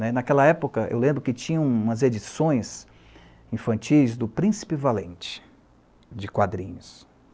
né. Naquela época, eu lembro que tinha umas edições infantis do Príncipe Valente, de quadrinhos.